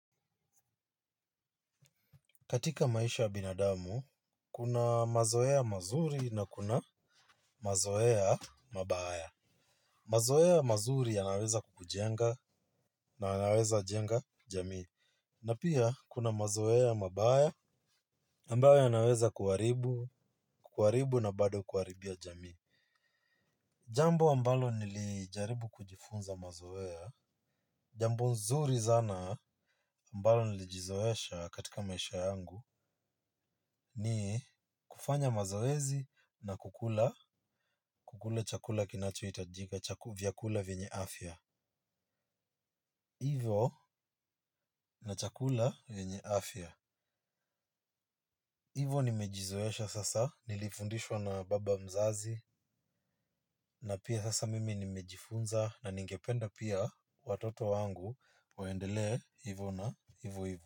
Katika maisha ya binadamu, kuna mazoea mazuri na kuna mazoea mabaya. Mazoea mazuri yanaweza kukujenga na yaweza jenga jamii. Na pia, kuna mazoea mabaya ambayo yanaweza kukuharibu na bado kuharibia jamii. Jambo ambalo nilijaribu kujifunza mazoea. Jambo nzuri sana ambalo nilijizoesha katika maisha yangu ni kufanya mazoezi na kulula vyakule vyenye afya. Ivo na chakula vyenye afya. Ivo nimejizoesha sasa nilifundishwa na baba mzazi na pia sasa mimi nimejifunza na ningependa pia watoto wangu waendelee hivo hivo.